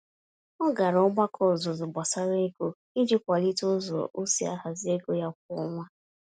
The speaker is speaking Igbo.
Ọ gara ogbako ọzụzụ gbásárá ego, iji kwalite ụzọ osi ahazi ego ya kwá ọnwa